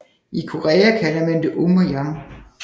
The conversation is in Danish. I Korea kalder man det Um og Yang